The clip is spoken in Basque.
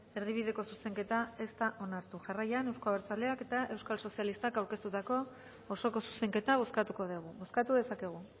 erdibideko zuzenketa ez da onartu jarraian eusko abertzaleak eta euskal sozialistak aurkeztutako osoko zuzenketa bozkatuko dugu bozkatu dezakegu